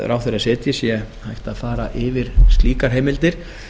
ráðherra setji hægt að fara yfir slíkar heimildir